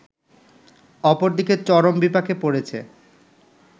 অপরদিকে চরম বিপাকে পড়েছে